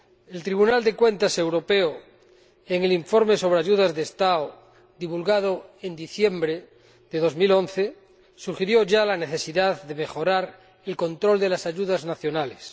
El Tribunal de Cuentas Europeo, en el informe sobre ayudas de Estado, divulgado en diciembre de 2011, sugirió ya la necesidad de mejorar el control de las ayudas nacionales.